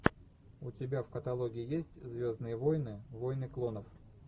у тебя в каталоге есть звездные войны войны клонов